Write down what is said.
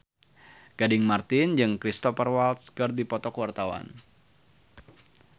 Gading Marten jeung Cristhoper Waltz keur dipoto ku wartawan